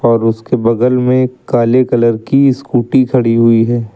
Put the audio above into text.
और उसके बगल में काले कलर की स्कूटी खड़ी हुई है।